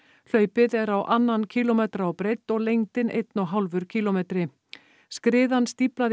hlaupið er á annan kílómetra á breidd og lengdin einn og hálfur kílómetri skriðan stíflaði